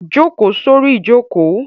Jókòó sórí ìjókòó!